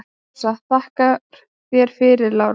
Ása: Þakka þér fyrir Lára.